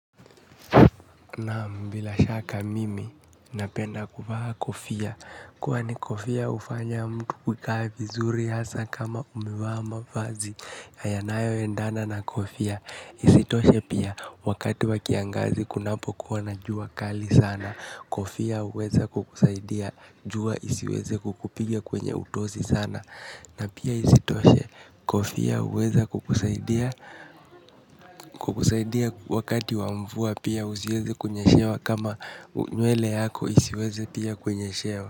Naam bila shaka mimi napenda kuvaa kofia, kwani kofia hufanya mtu kukaa vizuri hasa kama umevaa mavazi, yanayo endana na kofia, isitoshe pia wakati wa kiangazi kunapokuwa na jua kali sana, kofia huweza kukusaidia, jua isiweze kukupiga kwenye utosi sana. Na pia isitoshe kofia huweza kukusaidia wakati wa mvua pia usiweze kunyeshewa kama nywele yako isiweze pia kunyeshewa.